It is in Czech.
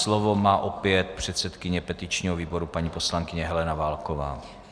Slovo má opět předsedkyně petičního výboru, paní poslankyně Helena Válková.